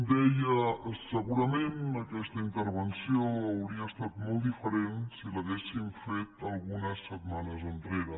deia segurament aquesta intervenció hauria estat molt diferent si l’haguéssim fet algunes setmanes enrere